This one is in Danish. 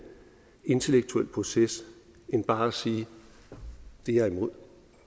intellektuel proces end bare at sige det er jeg imod